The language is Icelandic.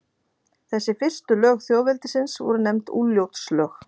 Þessi fyrstu lög þjóðveldisins voru nefnd Úlfljótslög.